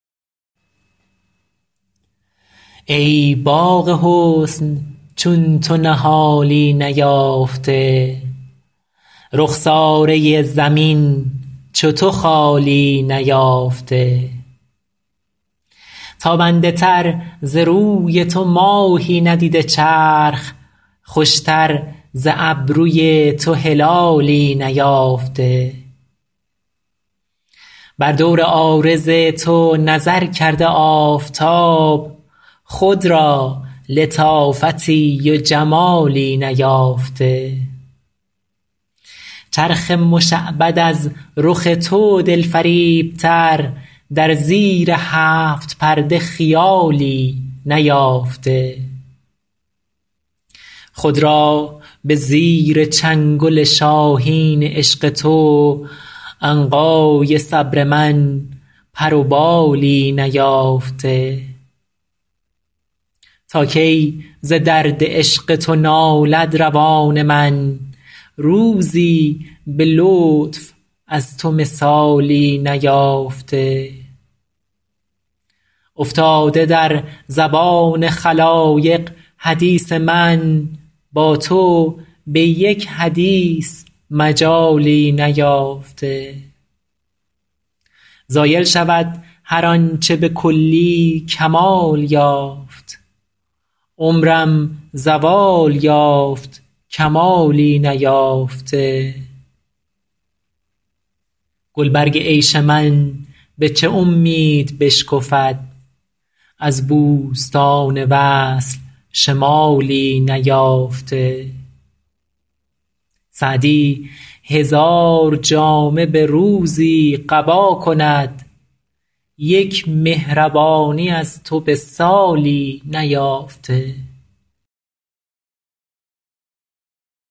ای باغ حسن چون تو نهالی نیافته رخساره زمین چو تو خالی نیافته تابنده تر ز روی تو ماهی ندیده چرخ خوشتر ز ابروی تو هلالی نیافته بر دور عارض تو نظر کرده آفتاب خود را لطافتی و جمالی نیافته چرخ مشعبد از رخ تو دلفریبتر در زیر هفت پرده خیالی نیافته خود را به زیر چنگل شاهین عشق تو عنقای صبر من پر و بالی نیافته تا کی ز درد عشق تو نالد روان من روزی به لطف از تو مثالی نیافته افتاده در زبان خلایق حدیث من با تو به یک حدیث مجالی نیافته زایل شود هر آن چه به کلی کمال یافت عمرم زوال یافت کمالی نیافته گلبرگ عیش من به چه امید بشکفد از بوستان وصل شمالی نیافته سعدی هزار جامه به روزی قبا کند یک مهربانی از تو به سالی نیافته